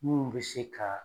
Munnu bɛ se k'a.